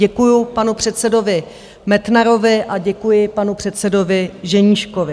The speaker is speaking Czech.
Děkuji panu předsedovi Metnarovi a děkuji panu předsedovi Ženíškovi.